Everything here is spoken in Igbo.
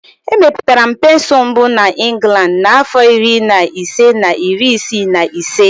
Emepụtara pensụl mbụ na Inglandi n'afọ iri na ise na iri isii na ise.